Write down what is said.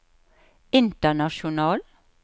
international